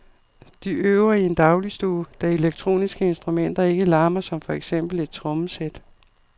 De øver i en dagligstue, da elektroniske instrumenter ikke larmer som for eksempel et trommesæt.